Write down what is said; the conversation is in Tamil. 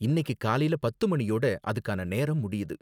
இன்னிக்கி காலைல பத்து மணியோட அதுக்கான நேரம் முடியுது.